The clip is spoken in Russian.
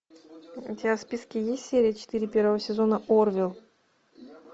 у тебя в списке есть серия четыре первого сезона орвилл